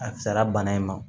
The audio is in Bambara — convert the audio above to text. A fisayara bana in ma